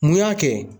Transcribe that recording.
Mun y'a kɛ